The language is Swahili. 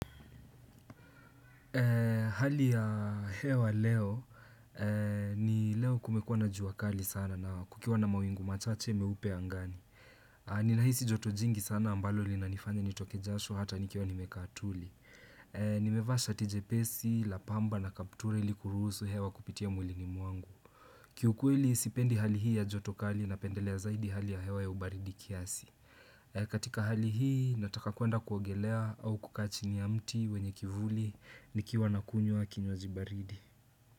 Hali ya hewa leo, ni leo kumekuwa na jua kali sana na kukiwa na mawingu machache meupe angani. Ninahisi joto jingi sana ambalo linanifanya nitoke jasho hata nikiwa nimekaa tuli. Nimevaa shati jepesi, la pamba na kaptura ili kuruhusu hewa kupitia miguuni mwangu. Kiukweli, sipendi hali hii ya joto kali napendelea zaidi hali ya hewa ya ubaridi kiasi. Katika hali hii nataka kuenda kuogelea au kukaa chini ya mti wenye kivuli nikiwa nakunywa kinywaji baridi.